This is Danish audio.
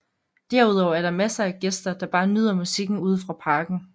Derudover er der masser af gæster der bare nyder musikken ude fra parken